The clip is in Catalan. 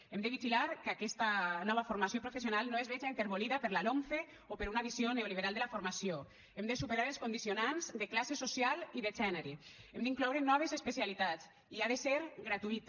hem de vigilar que aquesta nova formació professional no es veja enterbolida per la lomce o per una visió neoliberal de la formació hem de superar els condicionants de classe social i de gènere hem d’incloure noves especialitats i ha de ser gratuïta